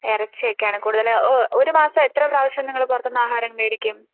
ഇറച്ചി ഒക്കെയാണ് കൂടുതലും ഒരു മാസം എത്ര പ്രാവശ്യംനിങ്ങൾ പുറത്തുനിന്ന് ആഹാരം മേടിക്കും